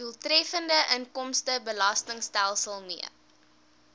doeltreffende inkomstebelastingstelsel mee